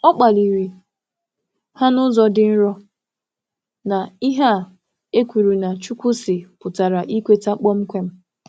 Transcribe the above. Ọ jụrụ ajụjụ nwayọ nwayọ banyere echiche na “Chukwu sị” pụtara ikwe n’enweghị ajụjụ.